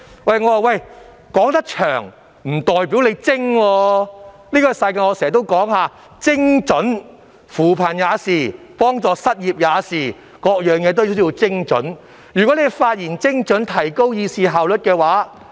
我經常說，這個世界講求精準，扶貧如是，援助失業也如是，凡事也要精準，如議員發言精準，便有助提高議會的議事效率。